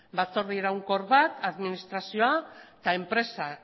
batzorde iraunkor bat administrazioa eta enpresa